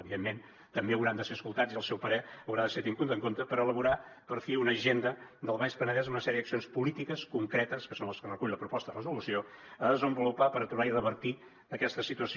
evidentment també hauran de ser escoltats i el seu parer haurà de ser tingut en compte per elaborar per fi una agenda del baix penedès amb una sèrie d’accions polítiques concretes que són les que recull la proposta de resolució a desenvolupar per aturar i revertir aquesta situació